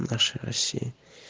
наша россия